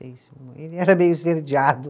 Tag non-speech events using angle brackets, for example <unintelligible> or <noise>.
<unintelligible> Ele era meio esverdeado.